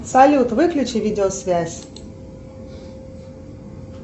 салют выключи видеосвязь